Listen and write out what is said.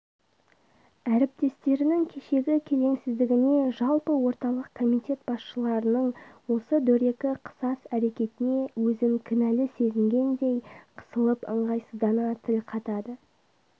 әрптестерінің кешегі келеңсіздігіне жалпы орталық комитет басшыларының осы дөрекі қысас әрекетіне өзін кінәлі сезінгендей қысылып ыңғайсыздана тіл қатады